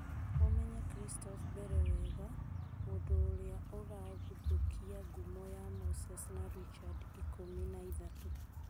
Mũmenye Kristoff Mbere wega, mũndũ ũrĩa ũragũthũkia ngumo ya Moses na Richard ikũmi na ithatũ.